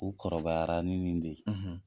U kɔrɔbayara ni nin de ye.